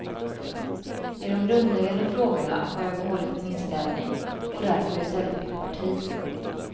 I de grundläggande frågorna har jag behållit min inställning och därför i stället bytt parti.